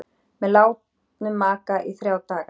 Með látnum maka í þrjá daga